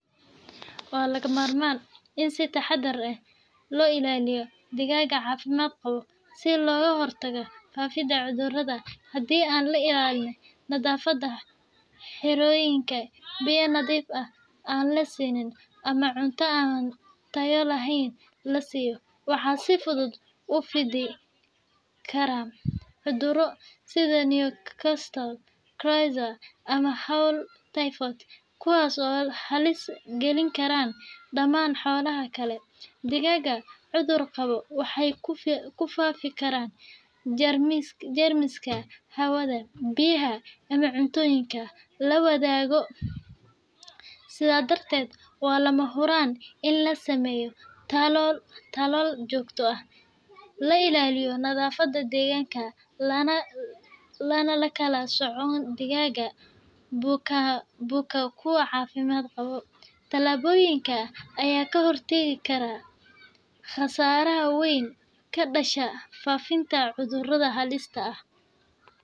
Waa lagama maarmaan in si taxaddar leh loo ilaaliyo digaagga caafimaad qaba si looga hortago faafidda cudurrada. Haddii aan la ilaalin nadaafadda xerooyinka, biyo nadiif ah aan la siin, ama cunto aan tayo lahayn la siiyo, waxaa si fudud u fidi kara cudurro sida Newcastle, coryza, ama fowl typhoid, kuwaas oo halis gelin kara dhammaan xoolaha kale. Digaagga cudur qaba waxay ku faafin karaan jeermiska hawada, biyaha, ama cuntooyinka la wadaago. Sidaa darteed, waa lama huraan in la sameeyo tallaal joogto ah, la ilaaliyo nadaafadda deegaanka, lana kala sooco digaagga buka kuwa caafimaad qaba. Tallaabooyinkan ayaa ka hortagi kara khasaaro weyn oo ka dhasha faafitaanka cudurro halis ah.